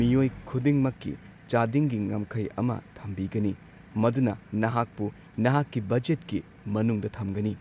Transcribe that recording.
ꯃꯤꯑꯣꯏ ꯈꯨꯗꯤꯡꯃꯛꯀꯤ ꯆꯥꯗꯤꯡꯒꯤ ꯉꯝꯈꯩ ꯑꯃ ꯊꯝꯕꯤꯒꯅꯤ, ꯃꯗꯨꯅ ꯅꯍꯥꯛꯄꯨ ꯅꯍꯥꯛꯀꯤ ꯕꯖꯦꯠꯀꯤ ꯃꯅꯨꯡꯗ ꯊꯝꯒꯅꯤ꯫